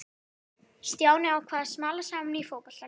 Stjáni ákvað að smala saman í fótboltalið.